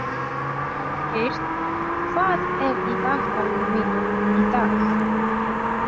Holgeir, hvað er í dagatalinu mínu í dag?